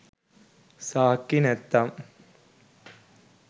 සාක්කි නැතිනම්